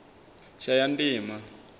shayandima